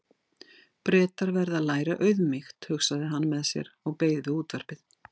Bretar verða að læra auðmýkt, hugsaði hann með sér og beið við útvarpið.